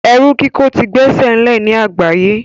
Ẹrú kíkò ti gbesele ní àgbáye